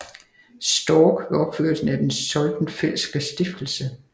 Storck ved opførelsen af Den Soldenfeldtske Stiftelse